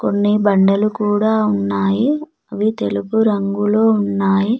కొన్ని బండలు కూడ ఉన్నాయి అవి తెలుపు రంగులో ఉన్నాయి.